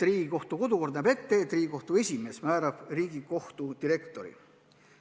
Riigikohtu kodukord näeb ette, et Riigikohtu esimees määrab Riigikohtu direktori.